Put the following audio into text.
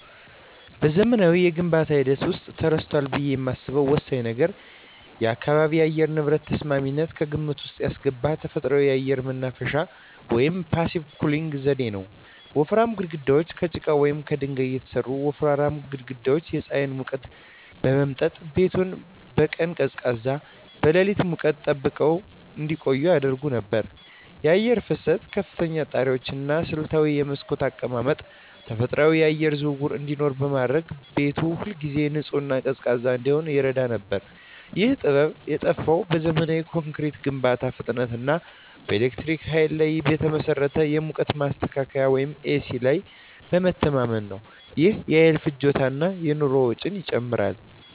በዘመናዊው የግንባታ ሂደት ውስጥ ተረስቷል ብዬ የማስበው ወሳኝ ነገር የአካባቢ የአየር ንብረት ተስማሚነትን ከግምት ውስጥ ያስገባ ተፈጥሯዊ የአየር ማናፈሻ (Passive Cooling) ዘዴ ነው። ወፍራም ግድግዳዎች: ከጭቃ ወይም ከድንጋይ የተሠሩ ወፍራም ግድግዳዎች የፀሐይን ሙቀት በመምጠጥ ቤቱን በቀን ቀዝቃዛና በሌሊት ሙቀት ጠብቀው እንዲቆይ ያደርጉ ነበር። የአየር ፍሰት: ከፍተኛ ጣሪያዎች እና ስልታዊ የመስኮት አቀማመጥ ተፈጥሯዊ የአየር ዝውውር እንዲኖር በማድረግ ቤቱ ሁልጊዜ ንጹህና ቀዝቃዛ እንዲሆን ይረዳ ነበር። ይህ ጥበብ የጠፋው በዘመናዊ ኮንክሪት ግንባታ ፍጥነት እና በኤሌክትሪክ ኃይል ላይ በተመሠረተ የሙቀት ማስተካከያ (ኤሲ) ላይ በመተማመን ነው። ይህም የኃይል ፍጆታን እና የኑሮ ወጪን ጨምሯል።